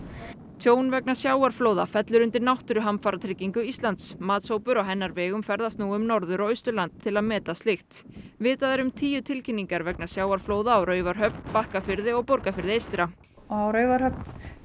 tjón vegna sjávarflóða fellur undir náttúruhamfaratryggingu Íslands matshópur á hennar vegum ferðast nú um Norður og Austurland til að meta slíkt vitað er um tíu tilkynningar vegna sjávarflóða á Raufarhöfn Bakkafirði og Borgarfirði eystra á Raufarhöfn